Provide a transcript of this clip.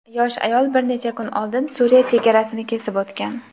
yosh ayol bir necha kun oldin Suriya chegarasini kesib o‘tgan.